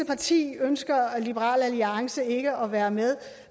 parti ønsker liberal alliance ikke at være med